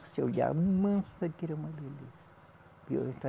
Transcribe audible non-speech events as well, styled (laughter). Você olhava, mansa que era uma beleza. (unintelligible)